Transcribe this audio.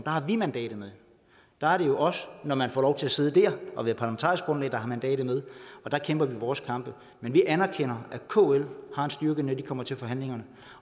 har vi mandatet med der er det jo os når man får lov til at sidde der og være parlamentarisk grundlag der har mandatet med og der kæmper vi vores kampe men vi anerkender at kl har en styrke når de kommer til forhandlingerne